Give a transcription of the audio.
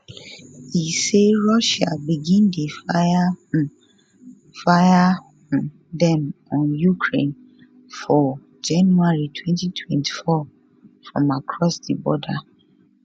e say russia begin dey fire um fire um dem on ukraine for january 2024 from across di border